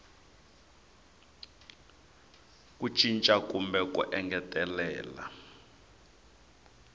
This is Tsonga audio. ku cinca kumbe ku engetelela